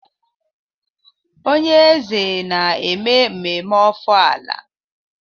Onye eze na-eme ememme ofala.